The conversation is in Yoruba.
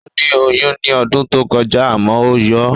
Ó ní oyún ní ọdún tó kọjá àmọ́ ó yọ